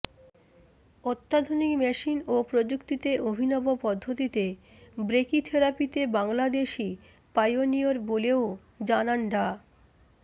অত্যাধুনিক মেশিন ও প্রযুক্তিতে অভিনব পদ্ধতিতে ব্রেকিথেরাপিতে বাংলাদেশই পাইওনিয়র বলেও জানান ডা